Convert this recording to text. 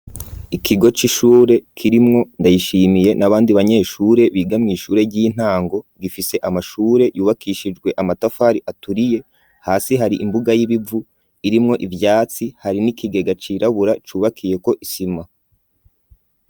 Ikigo c'ishure kirimwo Ndayishimiye n'abandi banyeshure biga kw'ishure ry'intango, gifise amashure yubakishijwe amatafari aturiye, hasi hari imbuga y'ibivu irimwo ivyatsi, hari n'ikigega cirabura cubakiyeko isima.